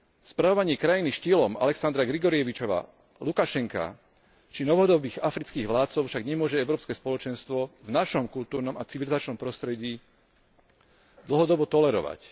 Spravovanie krajiny štýlom Alexandra Grigorievičova Lukašenka, či novodobých afrických vládcov však nemôže Európske spoločenstvo v našom kultúrnom a civilizačnom prostredí dlhodobo tolerovať.